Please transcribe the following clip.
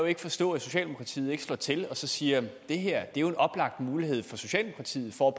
ikke forstå at socialdemokratiet ikke slår til og siger at det her er en oplagt mulighed for socialdemokratiet for